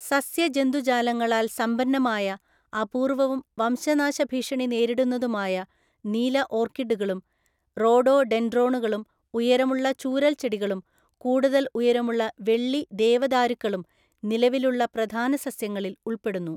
സസ്യജന്തുജാലങ്ങളാൽ സമ്പന്നമായ, അപൂർവവും വംശനാശഭീഷണി നേരിടുന്നതുമായ നീല ഓർക്കിഡുകളും റോഡോഡെൻഡ്രോണുകളും ഉയരമുള്ള ചൂരല്‍ച്ചെടികളും കൂടുതല്‍ ഉയരമുള്ള വെള്ളി ദേവദാരുക്കളും നിലവിലുള്ള പ്രധാന സസ്യങ്ങളിൽ ഉൾപ്പെടുന്നു.